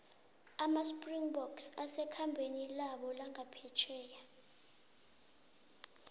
amaspringboks asekhambeni labo langaphetjheya